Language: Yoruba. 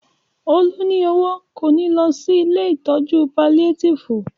Olú ní owó, kò ní lọ sí ilée ìtọ́jú paliátìfù